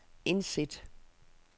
indsæt